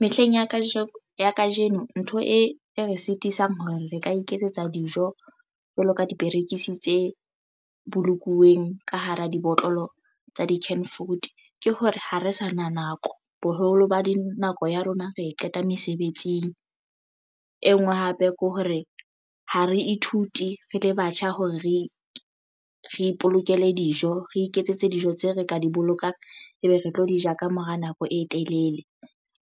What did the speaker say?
Mehleng ya kajeno ntho e re sitisang hore re ka iketsetsa dijo jwalo ka diperekisi tse bolokuweng ka hara dibotlolo tsa di-can fruit ke hore ha re sa na nako boholo ba nako ya rona re e qeta mesebetsing e nngwe hape kore ha re ithute re le batjha hore re ipolokele dijo re iketsetse dijo tseo re ka di bolokang ebe re tlo di ja ka mora nako e telele.